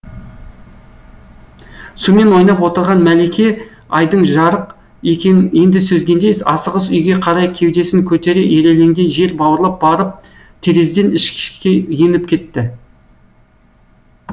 сумен ойнап отырған мәлике айдың жарык екенін енді сезгендей асығыс үйге қарай кеудесін көтере ирелеңдей жер бауырлап барып терезеден ішке еніп кетті